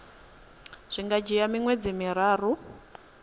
zwi nga dzhia miṅwedzi miraru